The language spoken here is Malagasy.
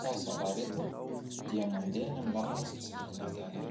ka zalahy ireto dia mandeha any amin'ny làlana izay tsy tokony andehanany.